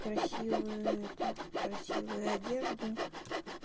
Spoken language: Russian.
красивые это красивые одежду